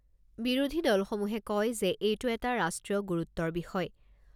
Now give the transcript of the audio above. বিৰোধী দলসমূহে কয় যে এইটো এটা ৰাষ্ট্ৰীয় গুৰুত্বৰ বিষয়